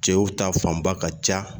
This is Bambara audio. Cɛw ta fanba ka ca